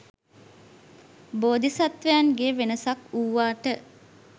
බෝධිසත්වයන්ගේ වෙනසක් වූවාට